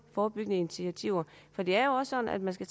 forebyggende initiativer for det er jo sådan at man skal